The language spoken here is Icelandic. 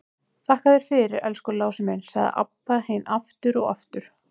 Þakka þér fyrir, elsku Lási minn, sagði Abba hin aftur og aftur.